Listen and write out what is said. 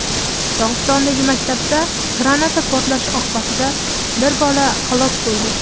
Dog‘istondagi maktabda granata portlashi oqibatida bir bola halok bo‘ldi.